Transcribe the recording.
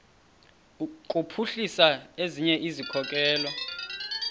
kuphuhlisa ezinye izikhokelo